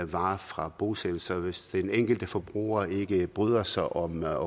varer fra bosættelser hvis den enkelte forbruger ikke bryder sig om at